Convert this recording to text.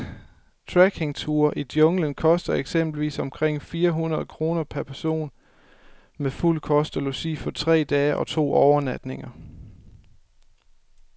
Trekkingture ud i junglen koster eksempelvis omkring fire hundrede kroner per person med fuld kost og logi for tre dage og to overnatninger.